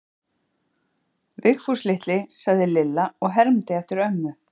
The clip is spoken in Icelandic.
Vigfús litli, sagði Lilla og hermdi eftir ömmu.